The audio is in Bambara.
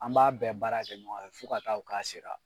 An b'a bɛn baara kɛ ɲɔgɔn fɛ fo ka ta kɛ k'a sera.